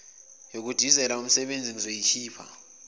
yokudizela umsebezi engizoyikhipha